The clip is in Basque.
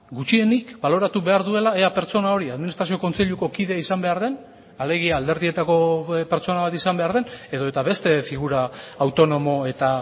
gutxienik baloratu behar duela ea pertsona hori administrazio kontseiluko kide izan behar den alegia alderdietako pertsona bat izan behar den edota beste figura autonomo eta